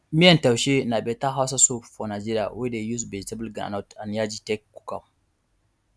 miyan taushe na better hausa soup for nigeria wey dey use vegetable groundnut and yaji take cook am